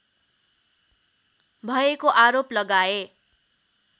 भएको आरोप लगाए